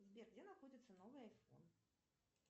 сбер где находится новый айфон